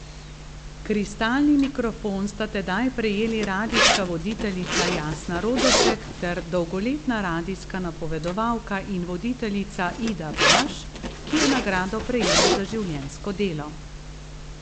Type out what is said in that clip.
Kristalni mikrofon sta tedaj prejeli radijska voditeljica Jasna Rodošek ter dolgoletna radijska napovedovalka in voditeljica Ida Baš, ki je nagrado prejela za življenjsko delo.